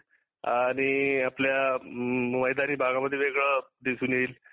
आणि आपल्या अ्म मैदानी भागामध्ये वेगळे दिसून येईल